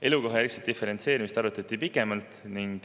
Elukohajärgset diferentseerimist arutati pikemalt.